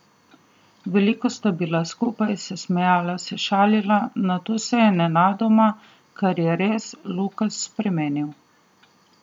Veliko sta bila skupaj, se smejala, se šalila, nato se je nenadoma, kar je res, Lukas spremenil.